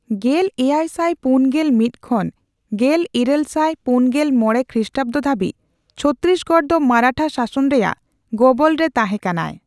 ᱜᱮᱞ ᱮᱭᱟᱭ ᱥᱟᱭ ᱯᱩᱱᱜᱮᱞ ᱢᱤᱛ ᱠᱷᱚᱱ ᱜᱮᱞᱤᱨᱟᱹᱞ ᱥᱟᱭ ᱯᱩᱱᱜᱮᱞ ᱢᱚᱲᱮ ᱠᱷᱨᱤᱥᱴᱟᱵᱫᱚ ᱫᱷᱟᱹᱵᱤᱡ ᱪᱷᱚᱛᱛᱤᱥᱜᱚᱲ ᱫᱚ ᱢᱟᱨᱟᱴᱷᱟ ᱥᱟᱥᱚᱱ ᱨᱮᱭᱟᱜ ᱜᱚᱵᱚᱞ ᱨᱮ ᱛᱟᱦᱸᱮᱠᱟᱱᱟ ᱾